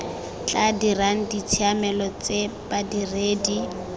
tla dirang ditshiamelo tse badiredi